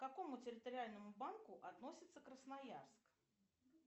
к какому территориальному банку относится красноярск